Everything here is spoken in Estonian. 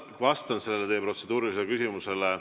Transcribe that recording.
Ma vastan teie protseduurilisele küsimusele.